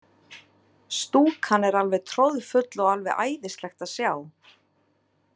Stúkan er alveg troðfull og alveg æðislegt að sjá.